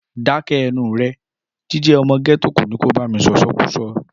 Dákẹ́ ẹnuù rẹ! Jíjẹ ọmọ gẹ́tò kò ní kò bá mí sọ̀sọkúsọ.